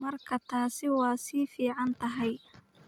Markaa taasi waa fiican tahay.